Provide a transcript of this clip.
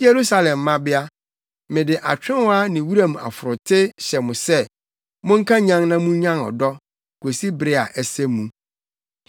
Yerusalem mmabea, mede atwewa ne wuram ɔforote hyɛ mo sɛ Monnkanyan na munnyan ɔdɔ kosi bere a ɛsɛ mu.